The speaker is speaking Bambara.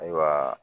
Ayiwa